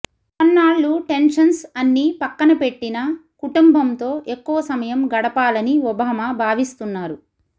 కొన్నాళ్లు tensions అన్నీ పక్కన పెట్టిన కుటుంబంతో ఎక్కువ సమయం గడపాలని ఒబామా భావిస్తున్నారు